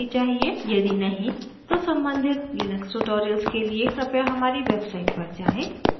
यदि नहीं तो सम्बंधित लिनक्स tutorials के लिए कृपया हमारी website पर जाएँ